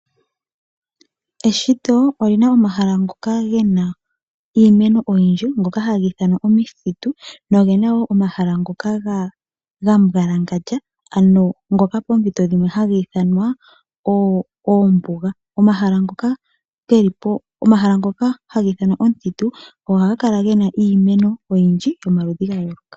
Eshito olina omahala ngoka gena iimeno oyindji ngoka haga ithanwa omithitu. Nogena wo omahala ngoka ga mbwalangandja, ano ngoka poompito dhimwe haga ithanwa oombuga. Omahala ngoka haga ithanwa omuthitu ohaga kala gena iimeno oyindji yomaludhi ga yooloka.